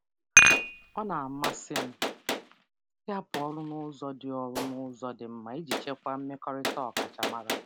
Ọ na-amasị m ịhapụ ọrụ n'ụzọ dị mma iji chekwaa mmekọrịta ọkachamara.